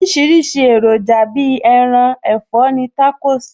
Oríṣiríṣi èròjà Bíi ẹran, ẹ̀fọ́ ni Tacos ní